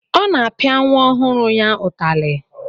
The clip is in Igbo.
Ọ na-apịa nwa ọhụrụ ya ụtalị.